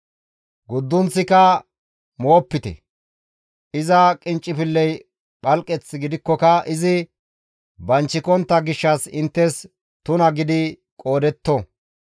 Guddunththika moopite; iza qinccifilley phalqeth gidikkoka izi banchikontta gishshas inttes tuna gidi qoodetto.